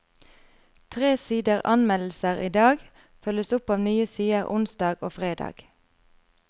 Tre sider anmeldelser i dag følges opp av nye sider onsdag og fredag.